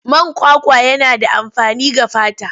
Man kwakwa yana da amfani ga fata.